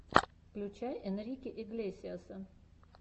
включай энрике иглесиаса